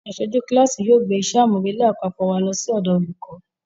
Aṣojú kíláàsì yóò gbé iṣẹ́ àmúrelé àpapọ̀ wa lọ sọ́dọ̀ olùkọ́